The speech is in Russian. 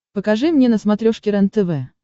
покажи мне на смотрешке рентв